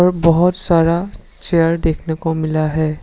और बहोत सारा चेयर देखने को मिला है।